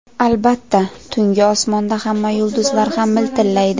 Albatta, tungi osmonda hamma yulduzlar ham miltillaydi.